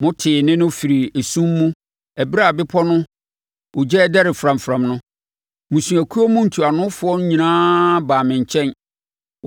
Motee nne no firii esum mu ɛberɛ a bepɔ no ogya redɛre framfram no, mmusuakuo mu ntuanofoɔ no nyinaa baa me nkyɛn.